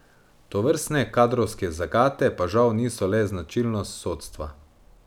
Tovrstne kadrovske zagate pa žal niso le značilnost sodstva.